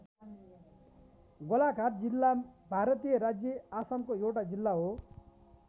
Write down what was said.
गोलाघाट जिल्ला भारतीय राज्य आसामको एउटा जिल्ला हो।